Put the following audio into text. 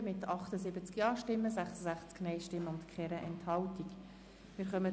Sie haben die Ziffer 2 mit 78 Ja-, 66 Nein-Stimmen und keiner Enthaltung abgeschrieben.